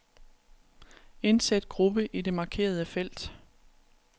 Indsæt gruppe i det markerede felt.